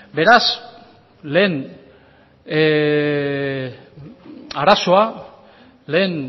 beraz lehen arazoa lehen